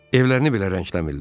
Evlərini belə rəngləmirlər.